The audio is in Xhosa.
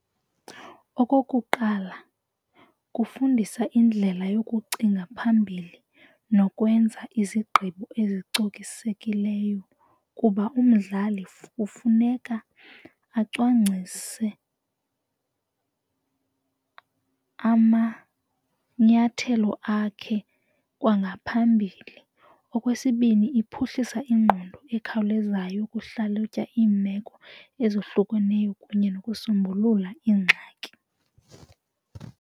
Okokuqala, kufundisa indlela yokucinga phambili nokwenza izigqibo ezicokisekileyo kuba umdlali kufuneka acwangcwise amanyathelo akhe kwangaphambili. Okwesibini, iphuhlisa ingqondo ekhawulezayo ukuhlalutya iimeko ezohlukeneyo kunye nokusombulula iingxaki.